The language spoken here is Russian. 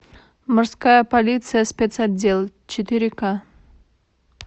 морская полиция спец отдел четыре ка